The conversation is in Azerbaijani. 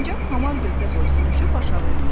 Sincab hamar gövdə boyu sürüşüb aşağı endi.